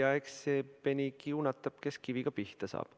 Eks see peni kiunatab, kes kiviga pihta saab.